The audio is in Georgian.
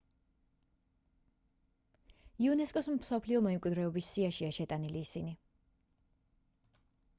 იუნესკოს მსოფლიო მემკვიდრეობის სიაშია შეტანილი ისინი